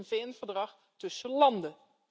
Het is een VN verdrag tussen landen.